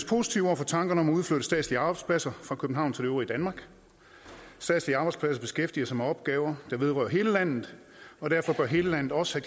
positive over for tankerne om at udflytte statslige arbejdspladser fra københavn til det øvrige danmark statslige arbejdspladser beskæftiger sig med opgaver der vedrører hele landet og derfor bør hele landet også